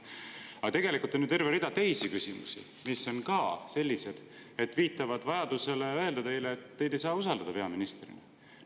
Aga tegelikult on ju ka terve rida teisi küsimusi, mis viitavad vajadusele öelda teile, et teid ei saa peaministrina usaldada.